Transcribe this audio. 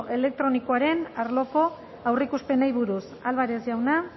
elektronikoaren arloko aurreikuspenei buruz álvarez jauna